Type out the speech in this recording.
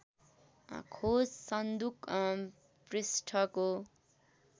खोज सन्दुक पृष्ठको